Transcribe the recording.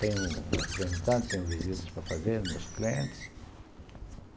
Tenho representante, tenho visitas para fazer, meus clientes.